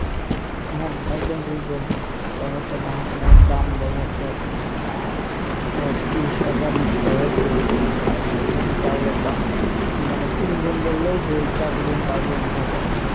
হ্যাঁ একদম ঠিক বলছেন দেখা যাচ্ছে ধান এর দাম দেখা যাচ্ছে আহ পয়তিরিশ টাকা বিশ টাকা কেজি পরসে আর সেইজন্য চাউলের দাম কী মানে তিনগুন বললেই ভুল চারগুণ পাঁচগুণ হয়ে যাচ্ছে,